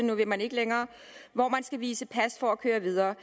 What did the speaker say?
nu vil man ikke længere hvor man skal vise pas for at køre videre